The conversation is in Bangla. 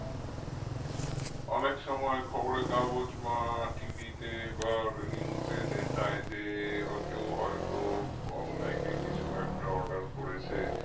অনেক সময় খবরের কাগজ বা TV তে বা news এ দেখায় যে আহ কেউ হয়তো online এ কিছু একটা order করেছে